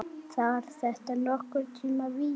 Var þetta nokkurn tíma víti?